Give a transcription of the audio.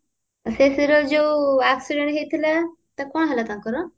ସେଇଥିରେ ଯୋଉ accident ହେଇଥିଲା ତାର କଣ ହେଲା ତାଙ୍କର